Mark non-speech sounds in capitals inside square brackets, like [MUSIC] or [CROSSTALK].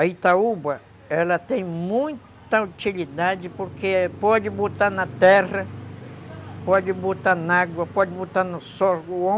A Itaúba, ela tem muita utilidade porque pode botar na terra, pode botar na água, pode botar no sol [UNINTELLIGIBLE]